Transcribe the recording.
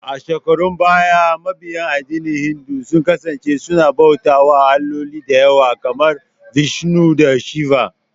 A shekarun baya, mabiya addinin Hindu sun kasance suna bauta wa alloli dayawa, kamar Vishnu da Shiva